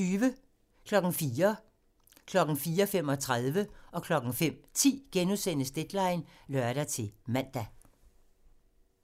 04:00: Deadline *(lør-man) 04:35: Deadline *(lør-man) 05:10: Deadline *(lør-man)